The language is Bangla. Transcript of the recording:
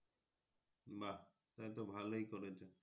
বা তাহলে তো ভালোই করেছ।